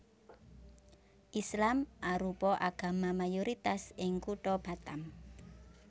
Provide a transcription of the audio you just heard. Islam arupa agama mayoritas ing kutha Batam